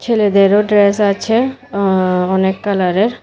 ছেলেদেরও ড্রেস আছে আ-অনেক কালারের।